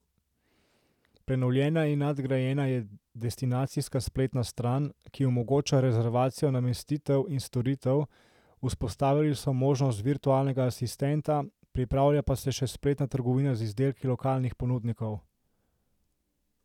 Prenovljena in nadgrajena je destinacijska spletna stran, ki omogoča rezervacijo namestitev in storitev, vzpostavili so možnost virtualnega asistenta, pripravlja pa se še spletna trgovina z izdelki lokalnih ponudnikov.